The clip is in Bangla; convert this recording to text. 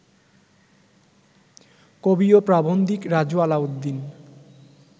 কবি ও প্রাবন্ধিক রাজু আলাউদ্দিন